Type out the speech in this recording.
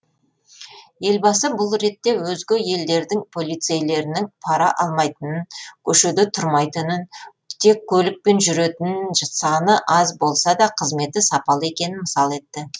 елбасы бұл ретте өзге елдердің полицейлерінің пара алмайтынын көшеде тұрмайтынын тек көлікпен жүретінін саны аз болса да қызметі сапалы екенін мысал етті